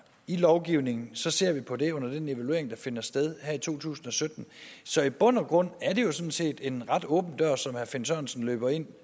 i lovgivningen ser vi på det under den evaluering der finder sted her i to tusind og sytten så i bund og grund er det jo sådan set en ret åben dør som herre finn sørensen løber ind